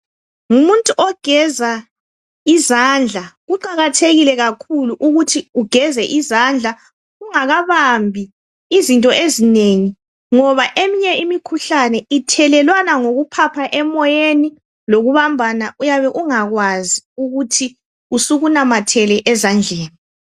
Ngumuntu ogeza izandla kuqakathekile kakhulu ukuthi ugeze izandla ungakabambi izinto ezinengi, ngoba eminye imikhuhlane ithelelwana ngokuphapha emoyeni lokubambana uyabe ungakwazi ukuthi usukunamathele ezandleni.